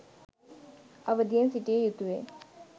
අවධියෙන් සිටිය යුතුවේ